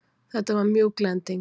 Þetta var mjúk lending.